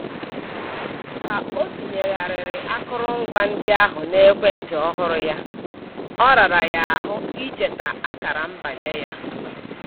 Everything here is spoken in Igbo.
Ka o tinyegharịrị akụrụngwa ndị ahụ n'ekwentị ọhụrụ ya, ọ rara ya ahụ icheta akara mbanye ya